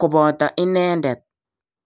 koboto inendet.